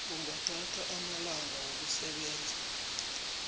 kungathatha amalanga wokusebenza